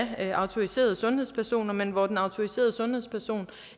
af autoriserede sundhedspersoner men hvor den autoriserede sundhedsperson